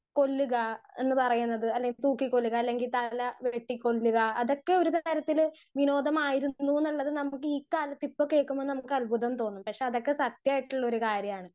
Speaker 1 കൊല്ലുക ന്ന് പറയുന്നത് അല്ലെങ്കി തൂക്കി കൊല്ലുക അല്ലെങ്കി തല വെട്ടി കൊല്ലുക അതൊക്കെ ഒരു തരത്തിൽ വിനോദമായിരുന്നു ന്നുള്ളത് നമ്മുക്ക് ഇക്കാലത്ത് ഇപ്പൊ കേക്കുമ്പോ നമ്മുക്ക് അൽഭുതം തോന്നും പക്ഷെ അതൊക്കെ സത്യായിട്ടുളൊരു കാര്യാണ്.